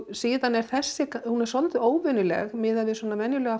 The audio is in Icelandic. síðan er þessi svolítið óvenjuleg miðað við svona venjulegar